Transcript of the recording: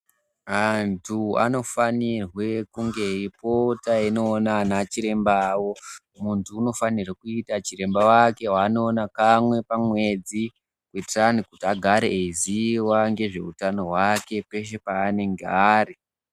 Anthu anofanirwe kunge eipota eindoona ana chiremba awo. Munthu unofanirwe kuita chiremba wake waanoona kamwe pamwedzi. Kuitira anthu kuti agare eiziya ngezve utano wake, peshe peanenge ari.